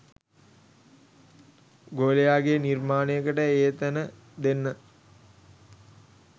ගෝලයාගේ නිර්මාණයකට ඒ තැන දෙන්න.